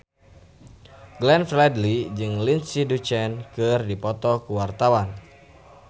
Glenn Fredly jeung Lindsay Ducan keur dipoto ku wartawan